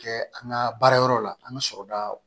Kɛ an ka baara yɔrɔ la an ka sɔrɔda